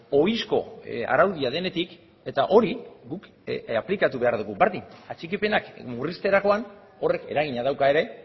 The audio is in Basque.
ohizko araudia denetik eta hori guk aplikatu behar dugu berdin atxikipenak murrizterakoan horrek eragina dauka ere